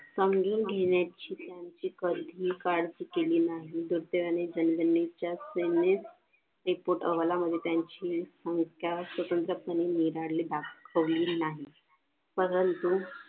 अंगी घेण्याची कारकिर्दी केली नाही तर त्याने त्या सैनेत एकूण हवालामध्ये त्यांची संख्या त्या स्वतंत्रपणे दाखवली नाही परंतु